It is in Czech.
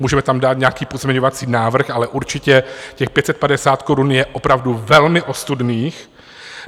Můžeme tam dát nějaký pozměňovací návrh, ale určitě těch 550 korun je opravdu velmi ostudných.